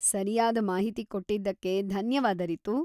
ಸರಿಯಾದ ಮಾಹಿತಿ ಕೊಟ್ಟಿದ್ದಕ್ಕೆ ಧನ್ಯವಾದ ರಿತು.